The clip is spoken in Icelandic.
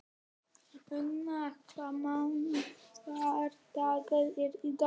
Una, hvaða mánaðardagur er í dag?